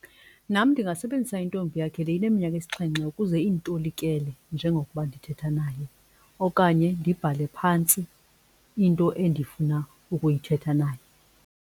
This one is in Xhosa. Nam ndingasebenzisa intombi yakhe le ineminyaka esixhenxe ukuze iyitolikele njengokuba ndithetha naye okanye ndibhale phantsi into endifuna ukuyithetha naye.